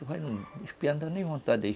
Os não dão nem vontade de ir.